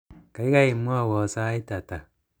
gaigai mwowon sait ata